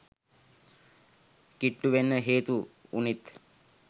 කිට්ටු වෙන්න හේතු උනෙත්